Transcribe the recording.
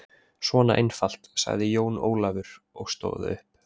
Svona einfalt, sagði Jón Ólafur og stóð upp.